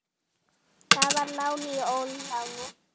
Það var lán í óláni.